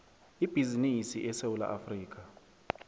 ibhizinisi esewula afrika